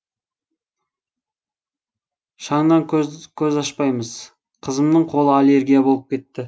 шаңнан көз ашпаймыз қызымның қолы аллергия болып кетті